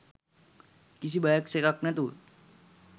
කිසි බයක් සැකක් නැතුව